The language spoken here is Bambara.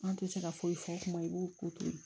An tɛ se ka foyi fɔ kuma i b'u ko to